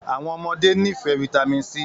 Àwọn ọmọdé nifẹ Vitamin c